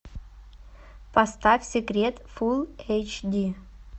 поставь секрет фул эйч ди